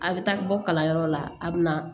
A bɛ taa bɔ kalanyɔrɔ la a bɛ na